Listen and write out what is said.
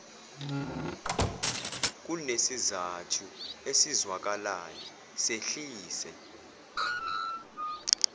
kunesizathu esizwakalayo sehlise